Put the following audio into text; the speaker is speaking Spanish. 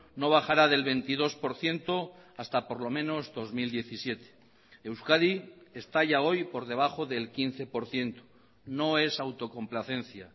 no bajará del veintidós por ciento hasta por lo menos dos mil diecisiete euskadi está ya hoy por debajo del quince por ciento no es autocomplacencia